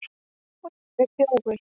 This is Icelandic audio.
Og ég er þjófur.